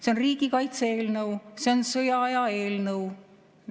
See on riigikaitse eelnõu, see on sõjaaja eelnõu.